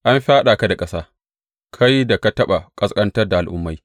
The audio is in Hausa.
An fyaɗa ka da ƙasa, kai da ka taɓa ƙasƙantar da al’ummai!